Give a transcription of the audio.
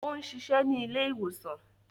O ń ṣiṣẹ ni ile-iwosan